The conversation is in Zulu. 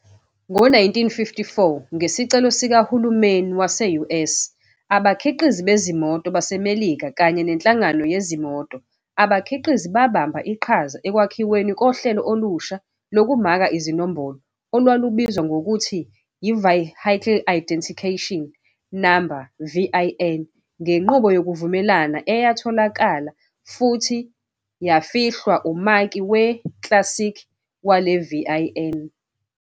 Ngo-1954, ngesicelo sikahulumeni wase-US, abakhiqizi bezimoto baseMelika kanye neNhlangano Yezimoto Abakhiqizi babamba iqhaza ekwakhiweni kohlelo olusha lokumaka izinombolo olwalubizwa ngokuthi yi-Vehicle Idicationication Number, VIN, ngenqubo yokuvumelana eyatholakala futhi yafihlwa umaki we-chassis wale VIN.